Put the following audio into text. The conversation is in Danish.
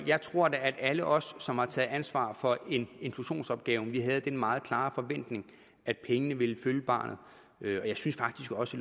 jeg tror da at alle os som har taget ansvar for inklusionsopgaven havde den meget klare forventning at pengene ville følge barnet og jeg synes faktisk også